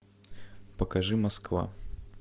покажи москва